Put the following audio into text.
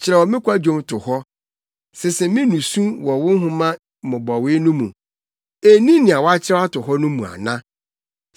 Kyerɛw me kwadwom to hɔ; sese me nusu wɔ wo nhoma mmobɔwee no mu. Enni nea woakyerɛw ato hɔ no mu ana?